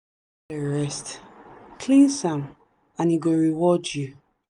rest cleanse am and e go reward you.